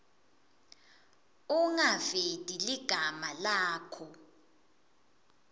ungaveti ligama lakho